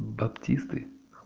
баптисты